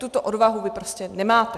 Tuto odvahu vy prostě nemáte.